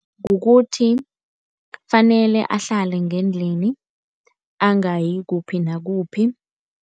Kukuthi, kufanele ahlale ngendlini angayi kuphi nakuphi.